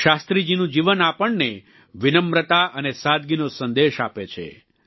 તો શાસ્ત્રીજીનું જીવન આપણને વિનમ્રતા અને સાદગીનો સંદેશ આપે છે